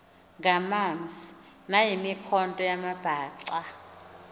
ngamanzi nayimikhonto yamabhaca